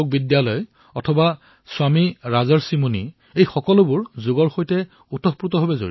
সেইদৰে স্বামী ৰাজৰ্ষি মুনিকো সন্মানিত কৰা হৈছে